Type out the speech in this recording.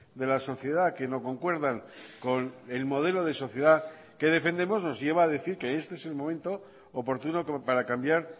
de la sociedad que no concuerdan con el modelo de sociedad que defendemos nos lleva a decir que este es el momento oportuno como para cambiar